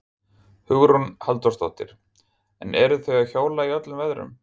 Hugrún Halldórsdóttir: En eru þau að hjóla í öllum veðrum?